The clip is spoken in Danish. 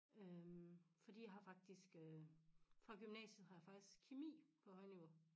Øh fordi jeg har faktisk øh fra gymnasiet har jeg faktisk kemi på højniveau